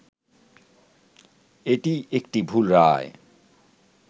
এটি একটি ‘ভুল’ রায়